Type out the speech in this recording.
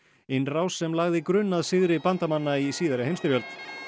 innrás sem lagði grunn að sigri bandamanna í síðari heimsstyrjöld